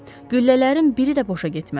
Güllələrin biri də boşa getmədi.